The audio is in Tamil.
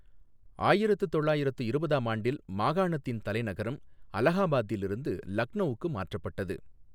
ஆயிரத்து தொள்ளாயிரத்து இருபதாம் ஆண்டில், மாகாணத்தின் தலைநகரம் அலஹாபாத்திலிருந்து லக்நௌவுக்கு மாற்றப்பட்டது.